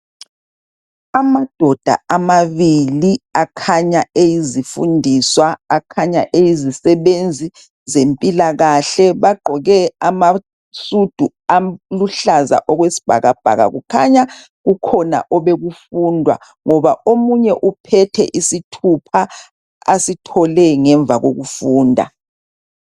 Amadoda amabili akhanya eyizifundiswa akhanya eyizisebenzi zempilakahle bagqoke amasudu aluhlaza okwesibhakabhaka kukhanya kukhona obekufundwa ngoba omunye uphethe isithupha asithole ngemva kokufunda.